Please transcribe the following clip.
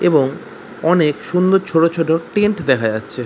এবং অনেক সুন্দর ছোট ছোট টেন্ট দেখা যাচ্ছে।